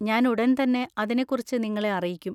ഞാൻ ഉടൻ തന്നെ അതിനെക്കുറിച്ച് നിങ്ങളെ അറിയിക്കും.